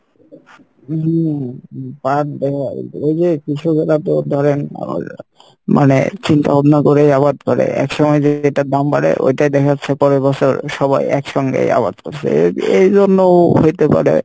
হম পাট দেখো ওইযে কৃষকেরা যে ধরেন আবার মানে চিন্তাভাবনা করে আবাদ করে একসময় যে যেটার দাম বাড়ে ওইটাই দেখা যাচ্ছে পরের বছর সবাই এক সঙ্গেই আবাদ করসে এই এই জন্যও হইতে পারে।